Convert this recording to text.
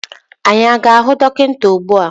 Anyị a ga-ahụ dọkịta ugbu a?